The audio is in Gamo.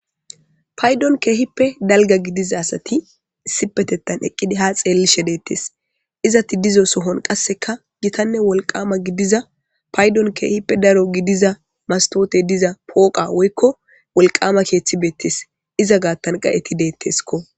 paydon keehippe dalga gidiza asati issipetetan eqqidi ha xeellishe deettes izati dizo sohon qasseka gitanne wolqama gidiza paydon keehippe daro gidiza mastoote diza pooqa woykko wolqama keeththibeettes iza gaattan qa7eti deetteskko